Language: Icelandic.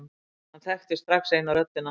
Hann þekkti strax eina röddina.